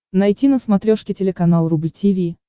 найти на смотрешке телеканал рубль ти ви